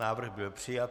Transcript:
Návrh byl přijat.